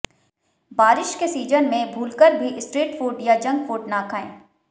बारिश के सीजन में भूलकर भी स्ट्रीट फ़ूड या जंक फ़ूड ना खाएं